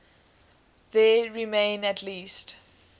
there remain at least